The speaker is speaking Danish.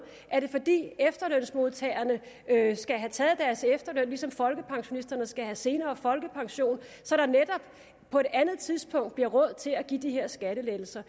er det fordi efterlønsmodtagerne skal have taget deres efterløn ligesom folkepensionisterne skal have senere folkepension så der netop på et andet tidspunkt bliver råd til at give de her skattelettelser